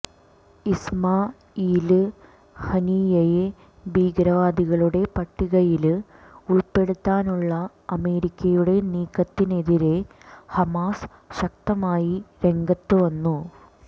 Ismail ഹനിയ്യയെ ഭീകരവാദികളുടെ പട്ടികയില് ഉള്പ്പെടുത്താനുള്ള അമേരിക്കയുടെ നീക്കത്തിനെതിരേ ഹമാസ് ശക്തമായി രംഗത്തുവന്നു